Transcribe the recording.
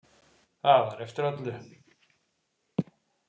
Það var eftir öllu.